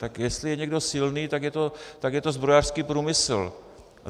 Tak jestli je někdo silný, tak je to zbrojařský průmysl.